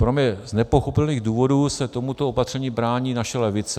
Pro mě z nepochopitelných důvodů se tomuto opatření brání naše levice.